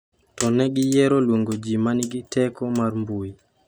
"To ne giyiero luongo ji ma nigi ""teko mar mbui"".